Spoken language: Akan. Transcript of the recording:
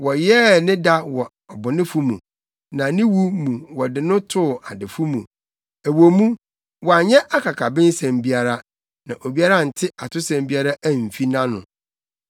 Wɔyɛɛ ne da wɔ abɔnefo mu, na ne wu mu wɔde no too adefo mu ɛwɔ mu, wanyɛ akakabensɛm biara, na obiara ante atosɛm biara amfi nʼano.